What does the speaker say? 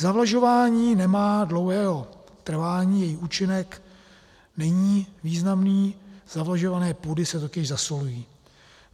Zavlažování nemá dlouhého trvání, jeho účinek není významný, zavlažované půdy se totiž zasolují.